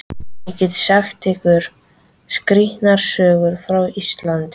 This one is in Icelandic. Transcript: Ég get sagt ykkur skrýtnar sögur frá Íslandi.